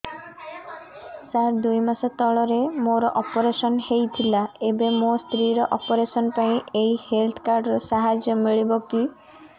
ସାର ଦୁଇ ମାସ ତଳରେ ମୋର ଅପେରସନ ହୈ ଥିଲା ଏବେ ମୋ ସ୍ତ୍ରୀ ର ଅପେରସନ ପାଇଁ ଏହି ହେଲ୍ଥ କାର୍ଡ ର ସାହାଯ୍ୟ ମିଳିବ କି